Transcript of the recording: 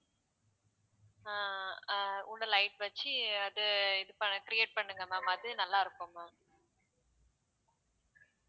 அஹ் அஹ் உள்ள light வச்சு அத இது ப~ create பண்ணுங்க ma'am அது நல்லா இருக்கும் ma'am